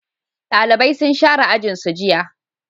dalibai sun share ajin su jiya